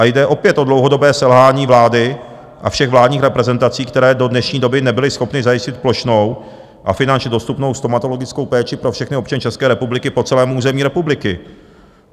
A jde opět o dlouhodobé selhání vlády a všech vládních reprezentací, které do dnešní doby nebyly schopny zajistit plošnou a finančně dostupnou stomatologickou péči pro všechny občany České republiky po celém území republiky.